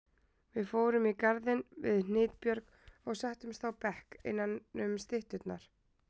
Við fórum í garðinn við Hnitbjörg og settumst á bekk innanum stytturnar.